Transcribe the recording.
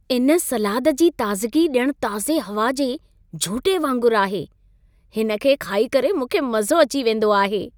इन सलाद जी ताज़गी ॼण ताज़े हवा जे झूटे वांगुरु आहे। हिन खे खाई करे मूंखे मज़ो अची वेंदो आहे।